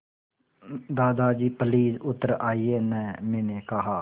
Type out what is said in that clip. दादाजी प्लीज़ उतर आइये न मैंने कहा